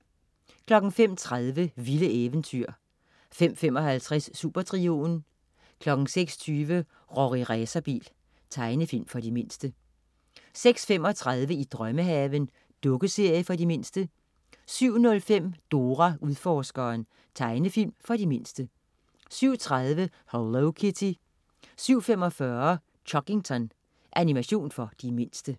05.30 Vilde eventyr 05.55 Supertrioen 06.20 Rorri Racerbil. Tegnefilm for de mindste 06.35 I drømmehaven. Dukkeserie for de mindste 07.05 Dora Udforskeren. Tegnefilm for de mindste 07.30 Hello Kitty 07.45 Chuggington. Animation for de mindste